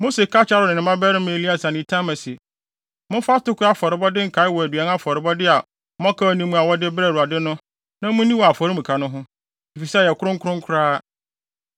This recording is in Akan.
Mose ka kyerɛɛ Aaron ne ne mmabarima Eleasar ne Itamar se, “Momfa atoko afɔrebɔde nkae wɔ aduan afɔrebɔ a mmɔkaw nni mu a wɔde brɛɛ Awurade no na munni wɔ afɔremuka no ho, efisɛ ɛyɛ kronkron koraa.